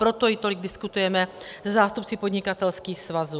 Proto ji tolik diskutujeme se zástupci podnikatelských svazů.